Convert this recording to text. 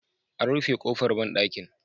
An rufe ƙofar banɗakin.